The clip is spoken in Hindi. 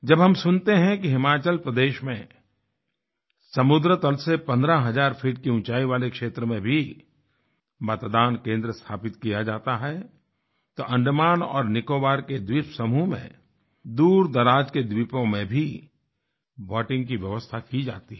जब हम सुनते हैं कि हिमाचल प्रदेश में समुद्र तल से 15000 फीट की ऊँचाई वाले क्षेत्र में भी मतदान केंद्र स्थापित किया जाता है तो अंडमान और निकोबार के द्वीप समूह में दूरदराज के द्वीपों में भी वोटिंग की व्यवस्था की जाती है